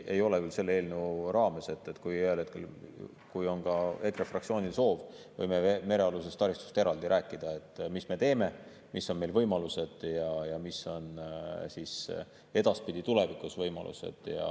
Ei ole küll selle eelnõu raames, aga kui ühel hetkel on EKRE fraktsioonil soov, siis võime merealusest taristust eraldi rääkida, et mis me teeme, mis on meie võimalused ja mis on tulevikus võimalused.